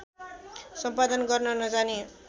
सम्पादन गर्न नजाने